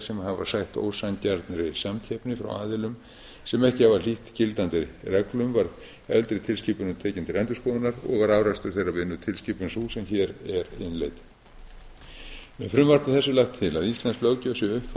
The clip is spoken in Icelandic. sem hafa sætt ósanngjarnri samkeppni frá aðilum sem ekki hafa hlýtt gildandi reglum var eldri tilskipunin tekin til endurskoðunar og var afrakstur þeirrar vinnu tilskipun sú sem hér er innleidd með frumvarpi þessu er lagt til að íslensk löggjöf sé uppfærð til